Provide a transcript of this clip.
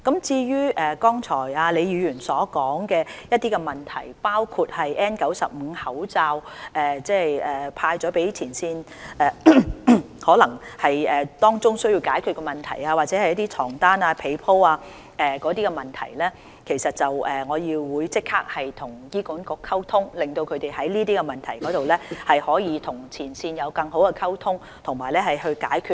至於剛才李議員所說的一些問題，包括派發給前線人員的 N95 口罩，可能當中有需要解決的問題，又或是床單被鋪等問題，我會立即向醫管局反映，讓他們就這些問題跟前線有更好的溝通，作出解決。